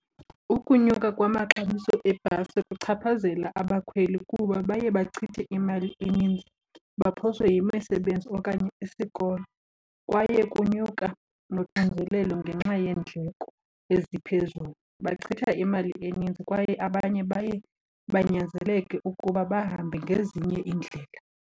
Ukunyuka kwamaxabiso eebhasi kuchaphazela abakhweli kuba baye bachithe imali eninzi baphoswe yimisebenzi okanye isikolo. Kwaye kunyuka noxinzelelo ngenxa yeendleko eziphezulu, bachitha imali eninzi kwaye abanye baye banyanzeleke ukuba bahambe ngezinye iindlela.